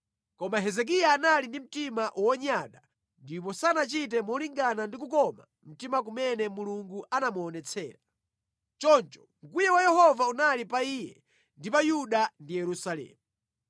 Koma Hezekiya anali ndi mtima wonyada ndipo sanachite molingana ndi kukoma mtima kumene Mulungu anamuonetsera. Choncho mkwiyo wa Yehova unali pa iye ndi pa Yuda ndi Yerusalemu.